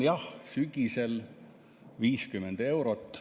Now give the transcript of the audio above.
Jah, sügisel 50 eurot.